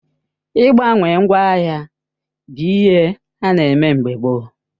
Ị gbawe ngwa ahia bụ ihe ana eme mgbe gboo